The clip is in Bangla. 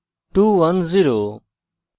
total is 210